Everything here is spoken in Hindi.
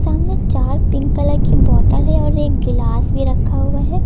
सामने चार पिंक कलर की बोतल है और एक गिलास भी रखा हुआ है।